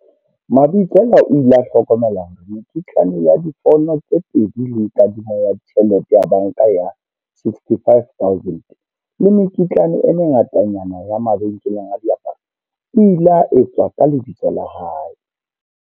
Mabitsela o ile a hlokomela hore mekitlane ya difouno tse pedi le kadimo ya tjhelete ya banka ya R65 000 le mekitlane e mengatanyana ya mabenkeleng a diaparo e ile etswa ka lebitso la hae.